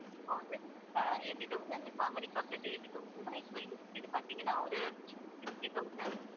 அஹ் eighty thousand இப்போ அமெரிக்காக்கு eighty thousand ன்னா இப்போ இது இதைப்பாத்தீங்கன்னா ஒரு sixty thousand